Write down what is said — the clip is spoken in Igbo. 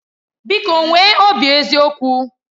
Biko nwee obi eziokwu